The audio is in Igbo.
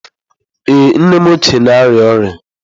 Ee, nnem ochie na-arịa ọrịa.